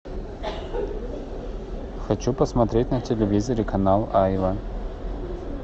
хочу посмотреть на телевизоре канал айва